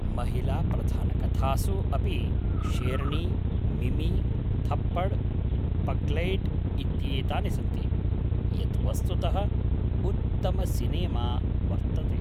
महिलाप्रधानकथासु अपि शेरनी, मिमी, थप्पड़, पग्लैट् इत्येतानि सन्ति, यत् वस्तुतः उत्तमसिनेमा वर्तते।